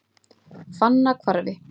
Fannahvarfi